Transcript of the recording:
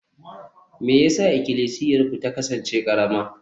me yasa Ikklisiyarku ta kasance karama?